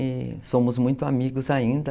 E somos muito amigos ainda.